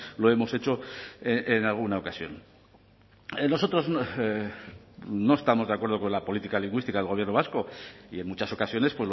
lo hemos hecho en alguna ocasión nosotros no estamos de acuerdo con la política lingüística del gobierno vasco y en muchas ocasiones